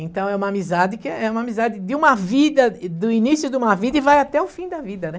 Então é uma amizade que é é uma amizade de uma vida, do início de uma vida e vai até o fim da vida, né?